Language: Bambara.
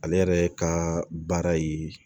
Ale yɛrɛ ka baara ye